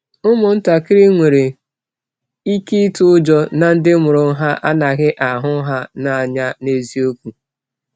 Ụmụntakịrị nwere ike ịtụ ụjọ na ndị mụrụ ha anaghị ahụ ha n’anya n’eziokwu.